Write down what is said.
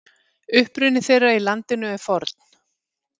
Uppruni þeirra í landinu er forn.